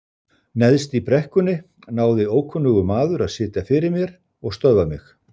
Neðst í brekkunni náði ókunnugur maður að sitja fyrir mér og stöðva mig.